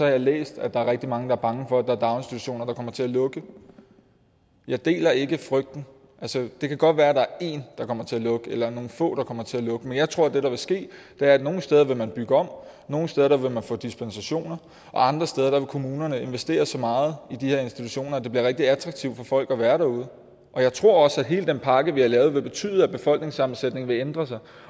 jeg læst at der er rigtig mange der er bange for at der er daginstitutioner der kommer til at lukke jeg deler ikke frygten altså det kan godt være at der er én der kommer til at lukke eller nogle få der kommer til at lukke men jeg tror at det der vil ske er at nogle steder vil man bygge om nogle steder vil man få dispensation og andre steder vil kommunerne investere så meget i de her institutioner at det bliver rigtig attraktivt for folk at være derude jeg tror også at hele den pakke vi har lavet vil betyde at befolkningssammensætningen vil ændre sig